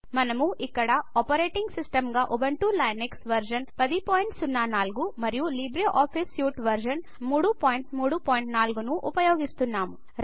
మనం ఇక్కడ operating system గా ఉబుంటు లైనక్స్ వర్షన్ 1004 మరియు లిబ్రేఆఫీస్ సూట్ వర్షన్ 334ను ఉపయోగిస్తున్నాము